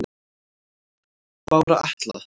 Bára Atla